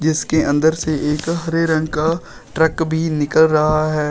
इसके अंदर से एक हरे रंग का ट्रक भी निकल रहा है।